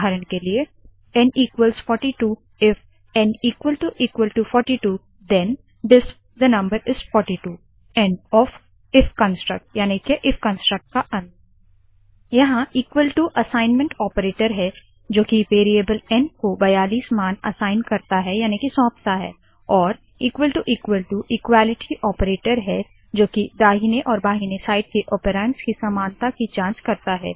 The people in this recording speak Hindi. उदाहरण के लिए160 एन 42 इफ एन 42 थेन dispथे number is forty two end यहाँ असाइनमेंट ओपरेटर है जो की वेरीयेबल एन को 42 मान असाइन याने के सौंपता है और इक्वालिटी ओपरेटर है जो की दाहिने और बाहिने साइड के ऑपेरान्ड्स की समानता की जांच करता है